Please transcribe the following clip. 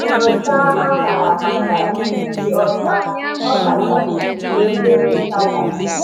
Nyochaa añara maka ijiji ọcha, ọkachasị mgbe mmiri nta gasịrị.